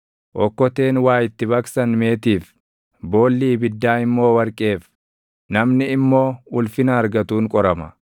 Okkoteen waa itti baqsan meetiif; boolli ibiddaa immoo warqeef; namni immoo ulfina argatuun qorama.